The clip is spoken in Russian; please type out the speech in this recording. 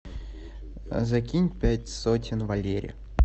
закинь пять сотен валере